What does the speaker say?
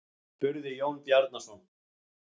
spurði Jón Bjarnason.